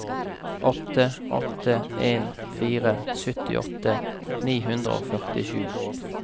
åtte åtte en fire syttiåtte ni hundre og førtisju